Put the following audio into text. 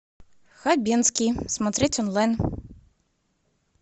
хабенский смотреть онлайн